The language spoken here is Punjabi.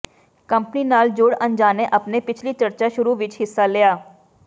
ਕੰਪਨੀ ਨਾਲ ਜੁੜ ਅਣਜਾਣੇ ਆਪਣੇ ਪਿਛਲੀ ਚਰਚਾ ਸ਼ੁਰੂ ਵਿਚ ਹਿੱਸਾ ਲਿਆ